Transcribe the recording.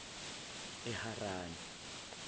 eharani